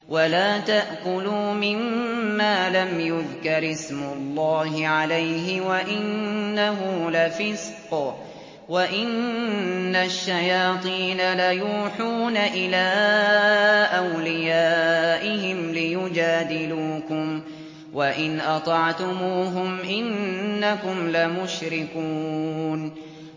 وَلَا تَأْكُلُوا مِمَّا لَمْ يُذْكَرِ اسْمُ اللَّهِ عَلَيْهِ وَإِنَّهُ لَفِسْقٌ ۗ وَإِنَّ الشَّيَاطِينَ لَيُوحُونَ إِلَىٰ أَوْلِيَائِهِمْ لِيُجَادِلُوكُمْ ۖ وَإِنْ أَطَعْتُمُوهُمْ إِنَّكُمْ لَمُشْرِكُونَ